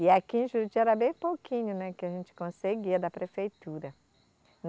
E aqui em Juruti era bem pouquinho, né, que a gente conseguia da prefeitura.